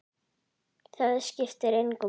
Það skiptir engu máli!